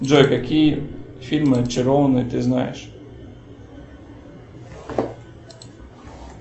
джой какие фильмы очарованные ты знаешь